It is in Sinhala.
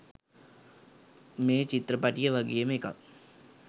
මේ චිත්‍රපටිය වගේම එකක්.